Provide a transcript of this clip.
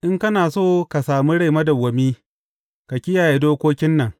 In kana so ka sami rai madawwami, ka kiyaye dokokin nan.